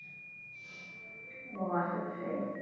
ও আশেপাশেই?